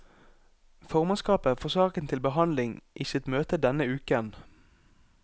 Formannskapet får saken til behandling i sitt møte denne uken.